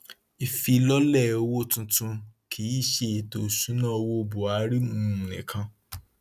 ìfilọlẹ owó tuntun kìí ṣe ètò ìṣúnná owó buhari um nìkan